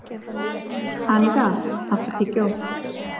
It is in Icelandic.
Anita, áttu tyggjó?